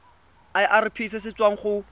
irp se se tswang go